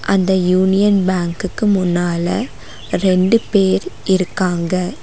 அந்த யூனியன் பேங்குக்கு முன்னால ரெண்டு பேர் இருக்காங்க.